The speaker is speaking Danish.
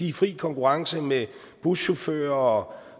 i fri konkurrence med buschauffører